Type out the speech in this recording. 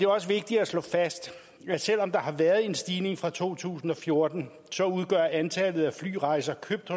også vigtigt at slå fast at selv om der har været en stigning fra to tusind og fjorten udgør antallet af flyrejser købt